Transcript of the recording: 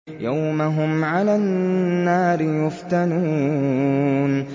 يَوْمَ هُمْ عَلَى النَّارِ يُفْتَنُونَ